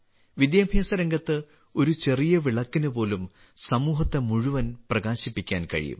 വിദ്യാഭ്യാസരംഗത്ത് ഒരു ചെറിയ വിളക്കിന് പോലും സമൂഹത്തെ മുഴുവൻ പ്രകാശിപ്പിക്കാൻ കഴിയും